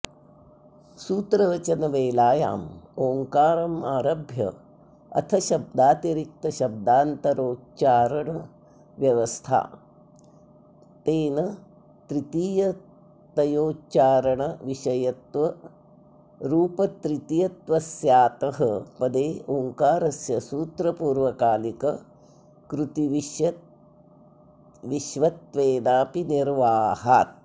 सूत्रवचनवेलायामोङ्कारमारभ्य अथशब्दातिरिक्तशब्दान्तरोच्चारणाव्यवधा नेन तृतीयतयोच्चारणविषयत्वरुपतृतीयत्वस्यातः पदे ओङ्कारस्य सूत्रपूर्वकालिककृतिविष्यत्वेनाऽपि निर्वाहात्